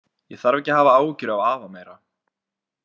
Ég þarf ekki að hafa áhyggjur af afa meira.